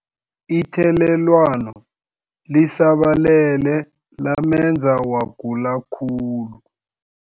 Ithelelwano lisabalele lamenza wagula khulu.